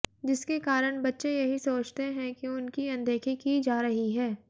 जिसके कारण बच्चे यही सोचते हैं कि उनकी अनदेखी की जा रही है